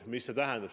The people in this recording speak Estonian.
Mida see tähendab?